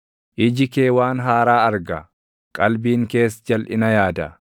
Iji kee waan haaraa arga; qalbiin kees jalʼina yaada.